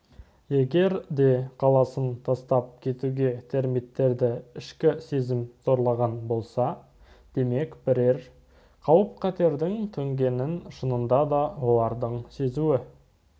егер де қаласын тастап кетуге термиттерді ішкі сезім зорлаған болса демек бірер қауіп-қатердің төнгенін шынында да олардың сезуі